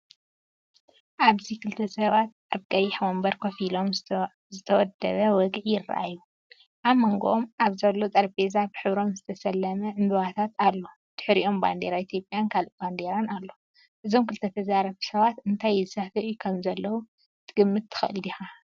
ኣብዚ ክልተ ሰባት ኣብ ቀይሕ መንበር ኮፍ ኢሎም ዝተወደበ ወግዒ ይረኣዩ። ኣብ መንጎኦም ኣብ ዘሎ ጠረጴዛ ብሕብሮም ዝተሰለመ ዕምባባታት ኣሎ። ብድሕሪኦም ባንዴራ ኢትዮጵያን ካልእ ባንዴራን ኣሎ። እዞም ክልተ ተዛረብቲ ሰባት እንታይ ይዛተዩ ከምዘለዉ ክትግምት ትኽእል ዲኻ?